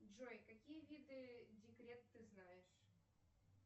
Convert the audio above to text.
джой какие виды декрет ты знаешь